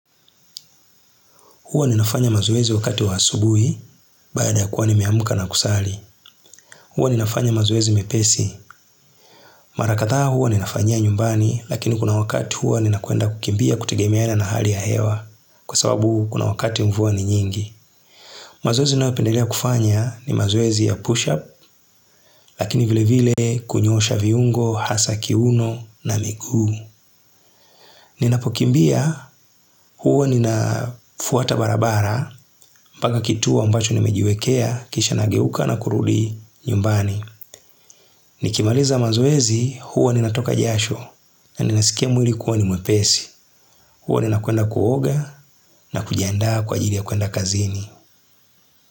Huwa ninafanya mazoezi wakati wa asubui, baada ya kuwa ni meamka na kusali. Huwa ninafanya mazuwezi mepesi. Mara kadha huwa ninafanyia nyumbani, lakini kuna wakati huwa nina kwenda kukimbia kutegemea na hali ya hewa, kwa sababu kuna wakati mvua ni nyingi. Mazwoezi nayopendelea kufanya ni mazoezi ya push-up, lakini vile vile kunyoosha viungo, hasa kiuno na miguu. Ninapokimbia huwa ninafuata barabara, mbaka kituo ambacho ni mejiwekea, kisha nageuka na kuruldi nyumbani. Nikimaliza mazoezi, huwa ninatoka jasho na ninasikia mwili kuwani mwepesi. Huwa ninakwenda kuoga na kujianda kwa ajili ya kuenda kazini.